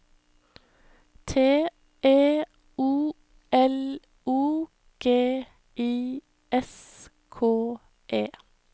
T E O L O G I S K E